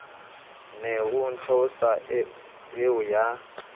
ne o theosa eo ya